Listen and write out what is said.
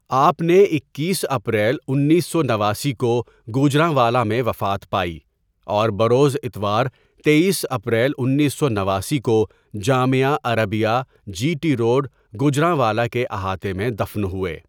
ٓآپ نے اکیس اپریل انیس سو نواسی کو گوجرانوالا میں وفات پائی اور بروز اتوار تییس اپریل انیس سو نواسی کو جامعہ عربیہ جی ٹی روڈ گوجرانوالا کے احاطے میں دفن ہوئے.